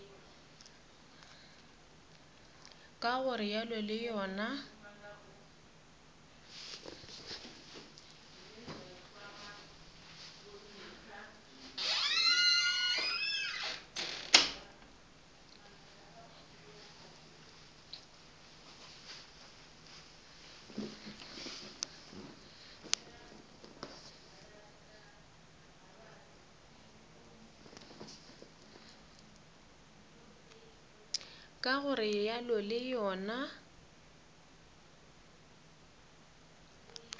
ka go realo le yona